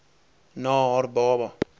na haar baba